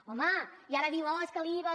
home i ara diu oh és que l’iva